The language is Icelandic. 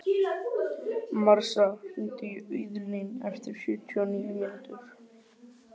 Marsa, hringdu í Auðlín eftir sjötíu og níu mínútur.